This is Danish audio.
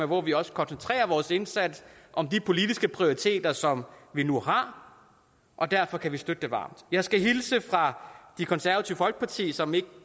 hvor vi også koncentrerer vores indsats om de politiske prioriteter som vi nu har og derfor kan vi støtte det varmt jeg skal hilse fra det konservative folkeparti som